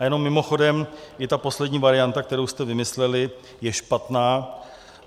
A jenom mimochodem, i ta poslední varianta, kterou jste vymysleli, je špatná.